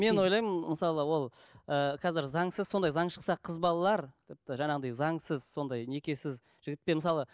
мен ойлаймын мысалы ол ы қазір заңсыз сондай заң шықса қыз балалар тіпті жаңағындай заңсыз сондай некесіз жігітпен мысалы